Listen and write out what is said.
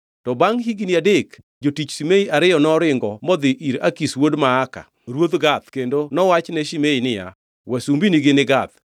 To bangʼ higni adek jotich Shimei ariyo noringo modhi ir Akish wuod Maaka, ruodh Gath kendo nowach ne Shimei niya, “Wasumbinigi ni Gath.”